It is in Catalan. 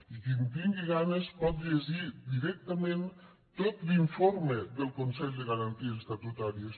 i qui en tingui ganes pot llegir directament tot l’informe del consell de garanties estatutàries